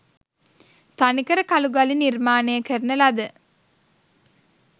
තනිකර කළුගලින් නිර්මාණය කරන ලද